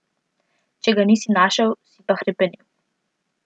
Če ga nisi našel, si pa hrepenel.